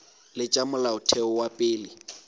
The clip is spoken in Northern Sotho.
le tša molaotheo wa pele